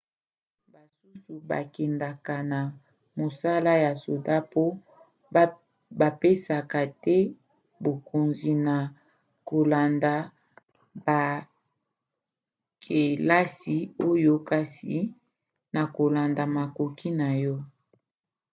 basusu bakendaka na mosala ya soda mpo bapesaka te bokonzi na kolanda bakelasi osala kasi na kolanda makoki na yo